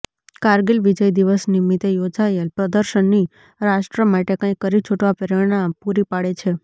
કારગીલ વિજય દિવસ નિમિત્તે યોજાયેલ પ્રદર્શની રાષ્ટ્ર માટે કંઇક કરી છૂટવા પ્રેરણા પૂરી પાડે છે